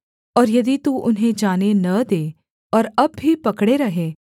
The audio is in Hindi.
और यदि तू उन्हें जाने न दे और अब भी पकड़े रहे